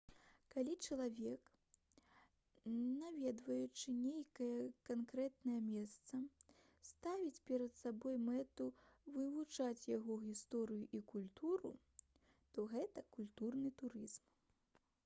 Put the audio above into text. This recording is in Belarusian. калі чалавек наведваючы нейкае канкрэтнае месца ставіць перад сабой мэту вывучыць яго гісторыю і культуру то гэта культурны турызм